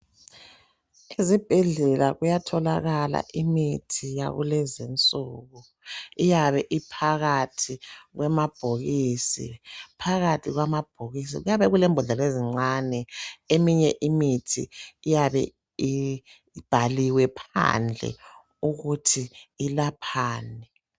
Ezibhedlela kuyatholakala imithi yakulezinsuku iyabe iphakathi kwamabhokisi. Phakathi kwamabhokisi kuyabe kulembodlela ezincane eminye imithi iyabe ibhaliwe phandle ukuthi ilaphani.